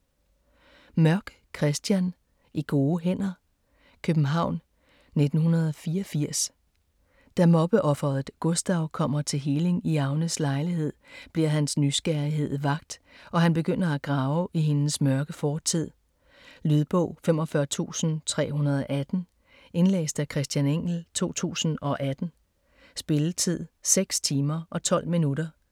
Mørk, Christian: I gode hænder København, 1984. Da mobbeofferet Gustav kommer til healing i Agnes lejlighed, bliver hans nysgerrighed vakt, og han begynder at grave i hendes mørke fortid. Lydbog 45318 Indlæst af Christian Engell, 2018. Spilletid: 6 timer, 12 minutter.